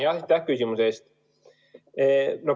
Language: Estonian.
Aitäh küsimuse eest!